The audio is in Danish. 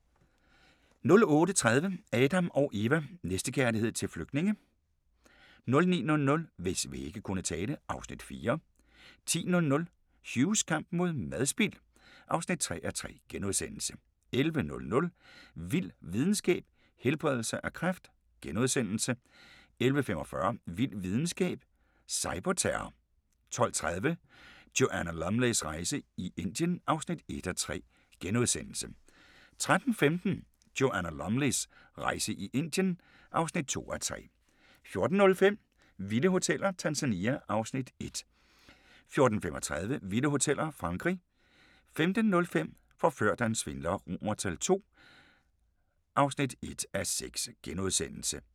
08:30: Adam & Eva: Næstekærlighed til flygtninge? 09:00: Hvis vægge kunne tale (Afs. 4) 10:00: Hughs kamp mod madspild (3:3)* 11:00: Vild videnskab: Helbredelse af kræft * 11:45: Vild videnskab: Cyberterror 12:30: Joanna Lumleys rejse i Indien (1:3)* 13:15: Joanna Lumleys rejse i Indien (2:3) 14:05: Vilde hoteller – Tanzania (Afs. 1) 14:35: Vilde hoteller – Frankrig 15:05: Forført af en svindler II (1:6)*